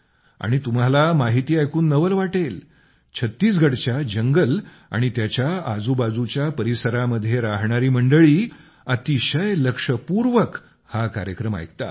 आणि तुम्हाला माहिती ऐकून नवल वाटेल छत्तीसगडच्या जंगल आणि त्याच्या आजूबाजूच्या परिसरामध्ये राहणारी मंडळी अतिशय लक्षपूर्वक हा कार्यक्रम ऐकतात